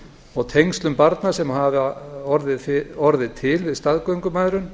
og tengslum barna sem hafa orðið til við staðgöngumæðrun